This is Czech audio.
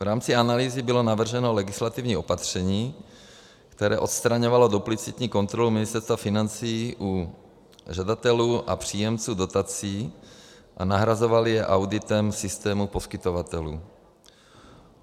V rámci analýzy bylo navrženo legislativní opatření, které odstraňovalo duplicitní kontrolu Ministerstva financí u žadatelů a příjemců dotací a nahrazovalo je auditem systému poskytovatelů.